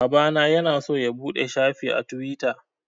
Babana ya na so ya buɗe shafi a Tiwita